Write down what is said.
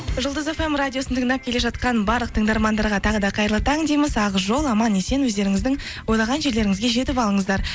жұлдыз фм радиосын тыңдап келе жатқан барлық тыңдармандарға тағы да қайырлы таң дейміз ақ жол аман есен өздеріңіздің ойлаған жерлеріңізге жетіп алыңыздар